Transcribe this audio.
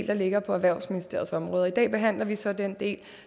der ligger på erhvervsministeriets område og i dag behandler vi så den del